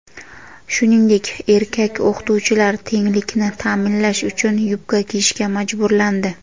shuningdek erkak o‘qituvchilar "tenglik"ni ta’minlash uchun yubka kiyishga majburlandi.